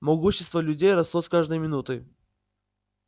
могущество людей росло с каждой минутой